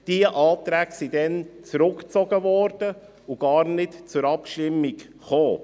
Diese Anträge wurden damals zurückgezogen und nicht zur Abstimmung gebracht.